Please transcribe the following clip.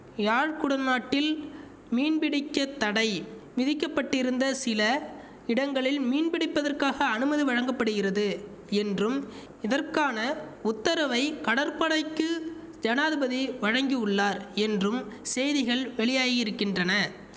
யாழ் குடநாட்டில் மீன்பிடிக்கத் தடை விதிக்க பட்டிருந்த சில இடங்களில் மீன்பிடிப்பதற்காக அனுமதி வழங்க படுகிறது என்றும் இதற்கான உத்தரவை கடற்படைக்கு ஜனாதிபதி வழங்கியுள்ளார் என்றும் செய்திகள் வெளியாகியிருக்கின்றன